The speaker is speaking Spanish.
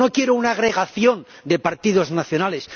No quiero una agregación de partidos nacionales